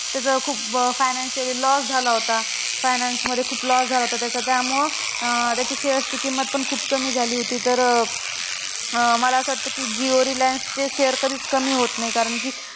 त्याचा खूप financially loss झाला होता. finance मध्ये खूप loss झाला होता त्याचा. त्यामुळं त्याच्या shares ची किंमत पण खूप कमी झाली होती. तर अं मला असं वाटतं की जियो रिलायन्सचे share कधीच कमी होत नाही कारण की